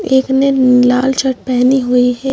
एक ने लाल शर्ट पहनी हुई हैं।